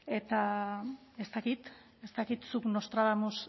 eta ez dakit ez dakit zuk nostradamus